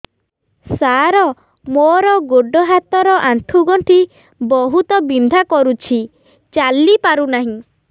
ସାର ମୋର ଗୋଡ ହାତ ର ଆଣ୍ଠୁ ଗଣ୍ଠି ବହୁତ ବିନ୍ଧା କରୁଛି ଚାଲି ପାରୁନାହିଁ